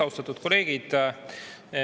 Austatud kolleegid!